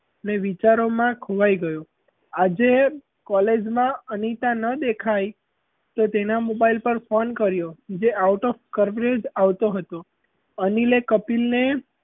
ને વિચારોમાં ખોવાઈ ગયો આજે college માં અનિતા ન દેખાઈ તો તેનાં mobile પર phone કર્યો જે out of coverage આવતો હતો. અનિલ એ કપિલ ને,